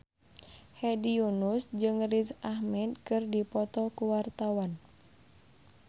Hedi Yunus jeung Riz Ahmed keur dipoto ku wartawan